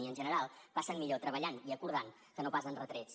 i en general passen millor treballant i acordant que no pas amb retrets